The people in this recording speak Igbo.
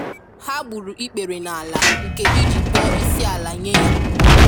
Ha gburu ikpere nala nke i ji kpọọ isiala nye Ya